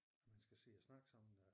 At man skal sidde og snakke sammen